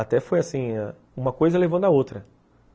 Até foi assim, uma coisa levando à outra.